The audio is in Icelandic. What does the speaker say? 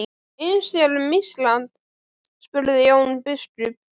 Eins er um Ísland, sagði Jón biskup.